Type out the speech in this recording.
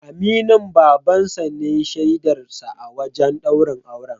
Aminin Baban sa ne shaidar sa a wajen ɗaurin auren.